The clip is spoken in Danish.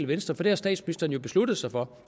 venstre for det har statsministeren besluttet sig for